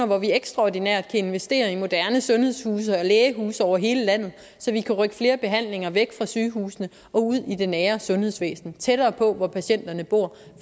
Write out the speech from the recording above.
hvor vi ekstraordinært kan investere i moderne sundhedshuse og lægehuse over hele landet så vi kan rykke flere behandlinger væk fra sygehusene og ud i det nære sundhedsvæsen tættere på hvor patienterne bor